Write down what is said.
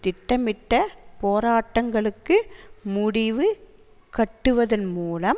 திட்டமிட்ட போராட்டங்களுக்கு முடிவு கட்டுவதன் மூலம்